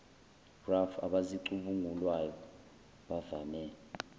raf abazicubungulayo bavame